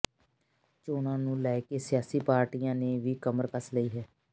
ਚੋਣਾਂ ਨੂੰ ਲੈਕੇ ਸਿਆਸੀ ਪਾਰਟੀਆਂ ਨੇ ਵੀ ਕਮਰ ਕਸ ਲਈ ਹੈ